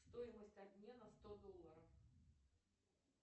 стоимость обмена сто долларов